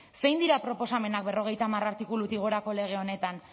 zein dira proposamenak berrogeita hamar artikulutik gorako lege honetan